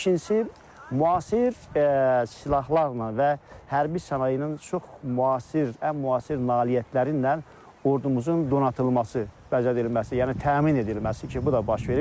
İkincisi, müasir silahlarla və hərbi sənayenin çox müasir, ən müasir nailiyyətləri ilə ordumuzun donatılması, bəzədilməsi, yəni təmin edilməsi ki, bu da baş verir.